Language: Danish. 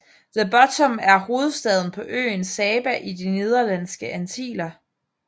The Bottom er hovedstaden på øen Saba i De Nederlandske Antiller